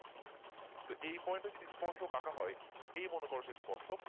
তো এই point ও যদি স্পর্শ আঁকা হয় এই মনোকরশেখ ইস্পর্শ